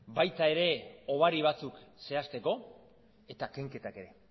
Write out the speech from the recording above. baita ere hobari batzuk zehazteko eta kenketak ere